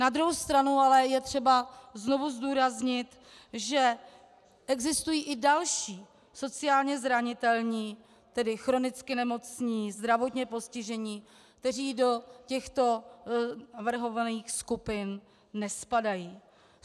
Na druhou stranu ale je třeba znovu zdůraznit, že existují i další sociálně zranitelní, tedy chronicky nemocní, zdravotně postižení, kteří do těchto navrhovaných skupin nespadají.